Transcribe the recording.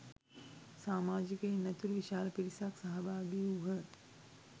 සාමාජිකයින් ඇතුළු විශාල පිරිසක් සහභාගි වූහ.